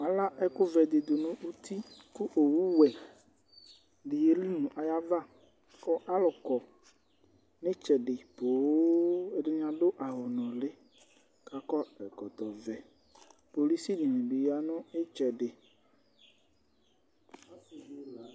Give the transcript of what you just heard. Ala ɛku vɛ di nu uti ku owu wɛ di yeli nu ayava ku alu kɔ nu itsɛdi poo ɛdini adu awu nuli ku akɔ ɛkɔtɔ vɛ kpolu si dini bi ya nu itsɛdi